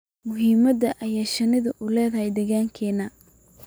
muhiimada ay shinnidu u leedahay deegaankeena